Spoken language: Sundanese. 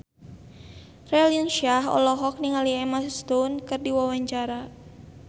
Raline Shah olohok ningali Emma Stone keur diwawancara